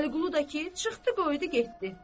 Vəliqulu da ki, çıxdı qoydu getdi.